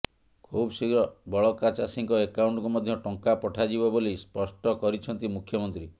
ଖୁବଶୀଘ୍ର ବଳକା ଚାଷୀଙ୍କ ଆକାଉଣ୍ଟକୁ ମଧ୍ୟ ଟଙ୍କା ପଠାଯିବ ବୋଲି ସ୍ପଷ୍ଟ କରିଛନ୍ତି ମୁଖ୍ୟମନ୍ତ୍ରୀ